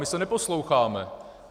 My se neposloucháme.